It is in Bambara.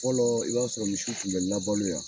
Fɔlɔ i b'a sɔrɔ misiw tun bɛ labɔ .